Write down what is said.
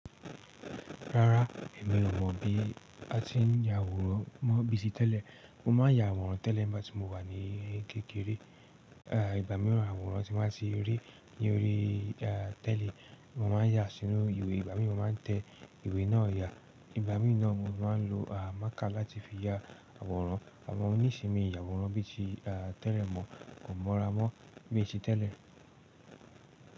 Rárá, èmi ò mọ̀ bí a ti ń ya àwòrán mọ bíi tí tẹ́lẹ̀. Mo máa ń ya àwòrán tẹ́lẹ̀ nígbà tí mo wà ní kékeré. À ìgbà míràn, àwòrán tí mo ba ti ri, ní orí, a tẹ́li, mo máa ń yà sínú ìwé. Ìgbà míràn, mo máa ń tẹ ìwé náà yà. Ìgbà mií naa mo máa ń lo ḿàkà láti fi ya àwòrán. Àmọ́ ní ìsin mi yà àwòrán bí i tí tẹ́lẹ̀ mọ̀ kò mọ́ra mọ́ bíi ti tẹ́lẹ̀.